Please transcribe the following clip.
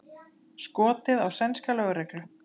Skotið á sænska lögreglu